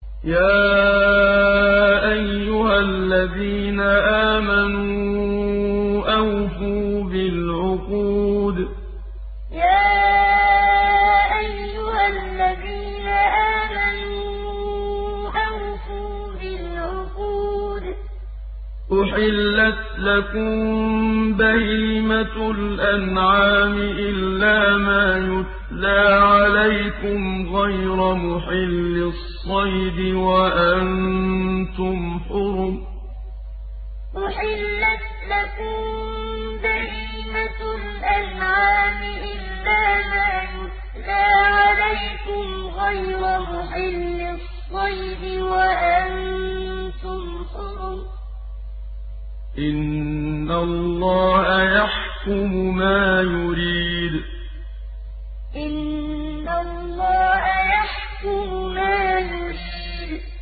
يَا أَيُّهَا الَّذِينَ آمَنُوا أَوْفُوا بِالْعُقُودِ ۚ أُحِلَّتْ لَكُم بَهِيمَةُ الْأَنْعَامِ إِلَّا مَا يُتْلَىٰ عَلَيْكُمْ غَيْرَ مُحِلِّي الصَّيْدِ وَأَنتُمْ حُرُمٌ ۗ إِنَّ اللَّهَ يَحْكُمُ مَا يُرِيدُ يَا أَيُّهَا الَّذِينَ آمَنُوا أَوْفُوا بِالْعُقُودِ ۚ أُحِلَّتْ لَكُم بَهِيمَةُ الْأَنْعَامِ إِلَّا مَا يُتْلَىٰ عَلَيْكُمْ غَيْرَ مُحِلِّي الصَّيْدِ وَأَنتُمْ حُرُمٌ ۗ إِنَّ اللَّهَ يَحْكُمُ مَا يُرِيدُ